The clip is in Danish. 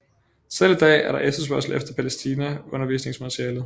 Selv i dag er der efterspørgsel efter Palæstina undervisningsmaterialet